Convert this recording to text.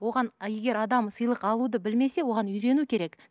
оған егер адам сыйлық алуды білмесе оған үйрену керек